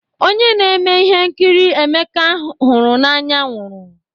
Onye na-eme ihe nkiri Emeka hụrụ n'anya nwụrụ.